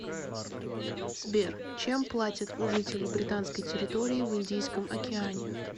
сбер чем платят у жителей британской территории в индийском океане